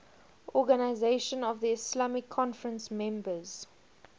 organisation of the islamic conference members